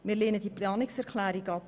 Wir lehnen diese Planungserklärung ab.